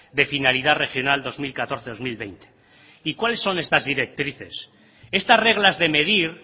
de finalidad regional dos mil catorce dos mil veinte y cuáles son estas directrices estas reglas de medir